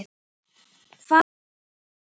Hvað verður um börnin?